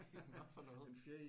En hvad for noget?